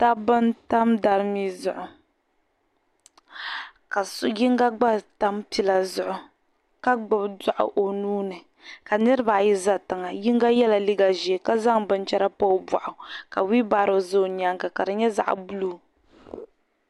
Dabba n-tam darimi zuɣu ka so yiŋga gba tam pila zuɣu ka gbubi daɣu o nuu ni ka niriba ayi za tiŋa yiŋga yela liiga ʒee ka zaŋ binchɛra m-pa o buɣaɣuka "wheel barrow" za o nyaaŋa ka di nyɛ zaɣ' "buluu".